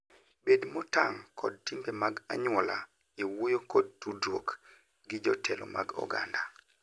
Bed motang' kod timbe mag anyuola e wuoyo kod tudruok gi jotelo mag oganda.